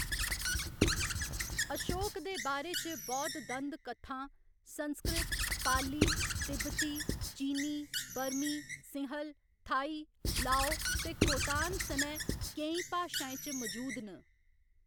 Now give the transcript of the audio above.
अशोक दे बारे च बौद्ध दंद कत्थां संस्कृत, पाली, तिब्बती, चीनी, बर्मी, सिंहल, थाई, लाओ ते खोतान सनै केईं भाशाएं च मजूद न।